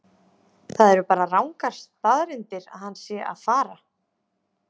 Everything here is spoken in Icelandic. Það eru bara rangar staðreyndir að hann sé að fara.